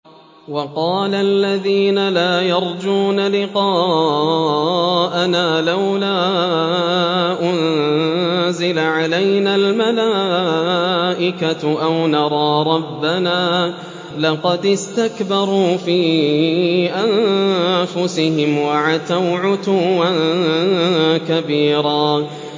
۞ وَقَالَ الَّذِينَ لَا يَرْجُونَ لِقَاءَنَا لَوْلَا أُنزِلَ عَلَيْنَا الْمَلَائِكَةُ أَوْ نَرَىٰ رَبَّنَا ۗ لَقَدِ اسْتَكْبَرُوا فِي أَنفُسِهِمْ وَعَتَوْا عُتُوًّا كَبِيرًا